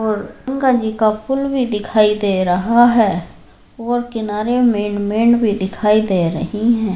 और गंगा जी का पुल भी दिखाई दे रहा है और किनारे मेन मेड भी दिख रहीं हैं।